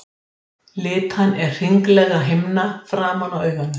Þessa spurningu má einnig skilja á annan veg.